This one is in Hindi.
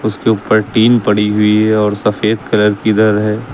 इसके उपर टीन पड़ी हुई है और सफेद कलर किधर है।